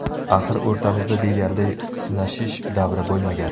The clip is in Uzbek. Axir o‘rtamizda deyarli sinashish davri bo‘lmagan.